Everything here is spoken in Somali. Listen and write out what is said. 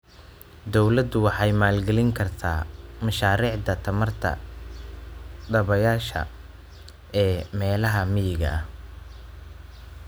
Dawladdu waxay maalgelin kartaa mashaariicda tamarta dabaysha ee meelaha miyiga ah.